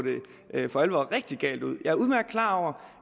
det for alvor rigtig galt ud